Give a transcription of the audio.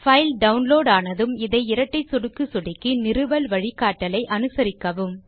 file download ஆனதும் அதை இரட்டை சொடுக்கு சொடுக்கி நிறுவல் வழிகாட்டலை அனுசரிக்கவும்